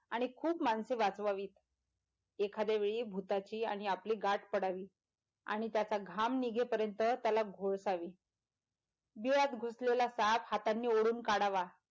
आणि खूप माणसे वाचवावीत एखाद्या वेळी भुताची आणि आपली गाठ पडावी आणि त्याचा घाम नीघेपर्यँत त्याला गोळसावी बिळात घुसलेला साप हातानी ओडून काढावा.